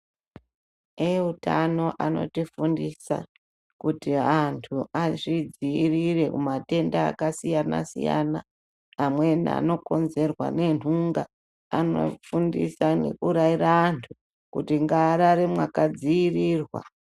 Eutano ano tifundisa kuti antu azvidzivirire kubva kumatenda akasiyana siyana amweni ano konzerwa nenhunga anofundisa nekurayira antu kuti ngavarare makadzivirirwa.